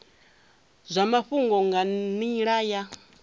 zwa mafhungo nga nila ya